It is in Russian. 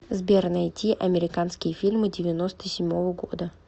сбер найти американские фильмы девяноста седьмого года